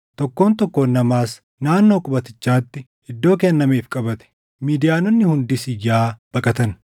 Tokkoon tokkoon namaas naannoo qubatichaatti iddoo kennameef qabate; Midiyaanonni hundis iyyaa baqatan.